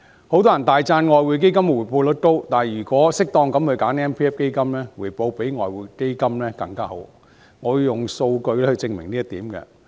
許多人大讚外匯基金的回報率高，但如果適當選擇強積金基金，回報可以比外匯基金更好，我會用數據證明這一點。